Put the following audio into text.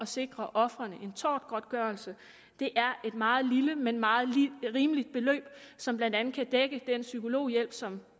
sikre ofrene en tortgodtgørelse det er et meget lille men meget rimeligt beløb som blandt andet kan dække den psykologhjælp som